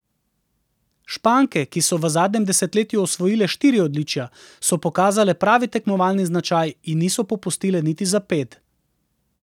Španke, ki so v zadnjem desetletju osvojile štiri odličja, so pokazale pravi tekmovalni značaj in niso popustile niti za ped.